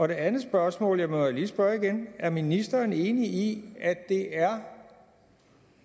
det andet spørgsmål jeg må jo lige spørge igen er ministeren enig i at det er